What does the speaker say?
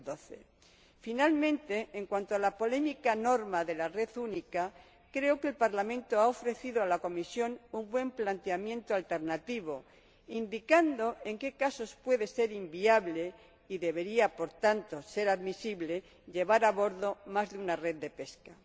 2012. Finalmente, en cuanto a la polémica norma de la red única, creo que el Parlamento ha ofrecido a la Comisión un buen planteamiento alternativo indicando en qué casos puede ser inviable y debería, por tanto, ser admisible llevar a bordo más de una red de pesca.